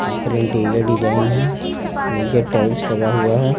ऊपर interior design है नीचे टाइल्स लगा हुआ है।